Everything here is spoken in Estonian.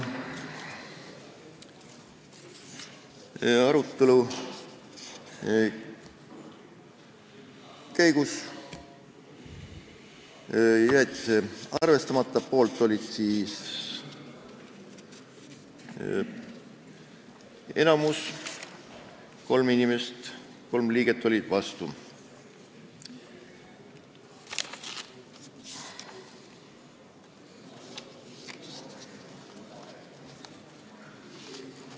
Arutelu käigus jäeti see arvestamata, selle poolt oli enamus ja 3 liiget olid vastu.